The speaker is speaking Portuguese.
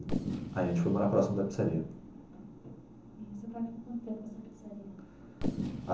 Aí a gente foi morar próximo da pizzaria. E seu pai ficou quanto com essa pizzaria?